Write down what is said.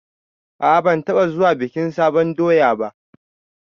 A'a ban taɓa zuwa bikin sabon doya ba